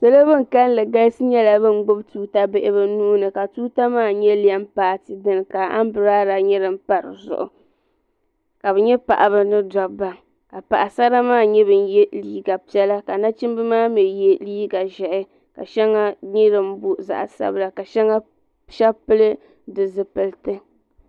Salo bin kalli galisi nyɛla ban gbibi tuuta bihi bɛ nuuni ka tuuta maa nyɛ lɛm paati dini ka ambrada nyɛ din pa dizuɣu ka bɛ nyɛ paɣaba ni dobba ka Paɣasara maa nyɛ ban ye liiga piɛla nachimba maa mee ye liiga ʒehi ka sheŋa nyɛ din booi zaɣa sabila ka sheba pili di zipilti.